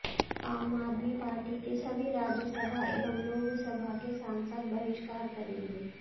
आम आदमी पार्टी के सभी राज्य सभा एवं लोक सभा के सांसद बहिष्कार करेंगे